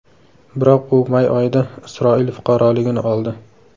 Biroq u may oyida Isroil fuqaroligini oldi.